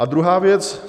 A druhá věc.